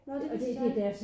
Nåh det vidste jeg ikke